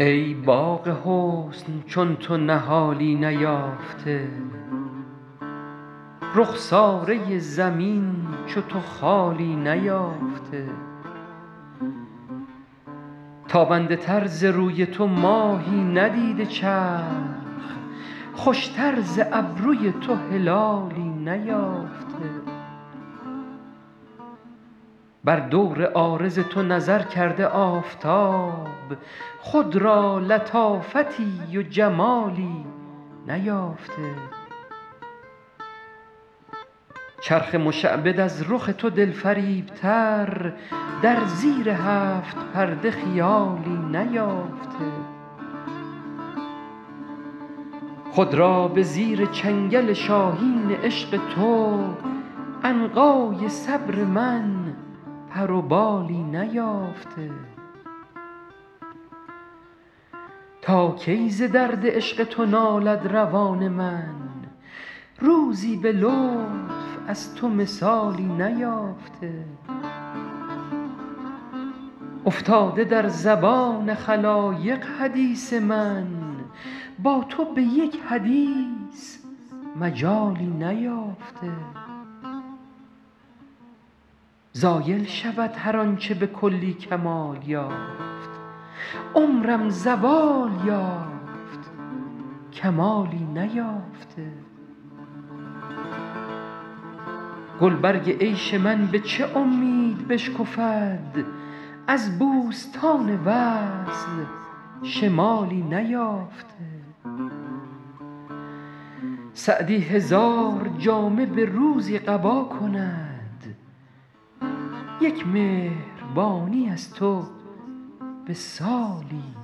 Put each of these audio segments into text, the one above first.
ای باغ حسن چون تو نهالی نیافته رخساره زمین چو تو خالی نیافته تابنده تر ز روی تو ماهی ندیده چرخ خوشتر ز ابروی تو هلالی نیافته بر دور عارض تو نظر کرده آفتاب خود را لطافتی و جمالی نیافته چرخ مشعبد از رخ تو دلفریبتر در زیر هفت پرده خیالی نیافته خود را به زیر چنگل شاهین عشق تو عنقای صبر من پر و بالی نیافته تا کی ز درد عشق تو نالد روان من روزی به لطف از تو مثالی نیافته افتاده در زبان خلایق حدیث من با تو به یک حدیث مجالی نیافته زایل شود هر آن چه به کلی کمال یافت عمرم زوال یافت کمالی نیافته گلبرگ عیش من به چه امید بشکفد از بوستان وصل شمالی نیافته سعدی هزار جامه به روزی قبا کند یک مهربانی از تو به سالی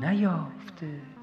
نیافته